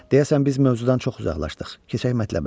Deyəsən biz mövzudan çox uzaqlaşdıq, keçək mətləbə.